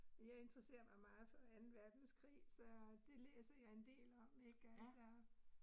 Jeg interesserer mig meget for anden verdenskrig, så det læser jeg en del om ik altså